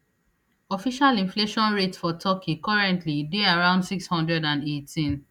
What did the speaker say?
official inflation rate for turkey currently dey around six hundred and eighteen